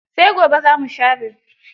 Sai gobe za mu share.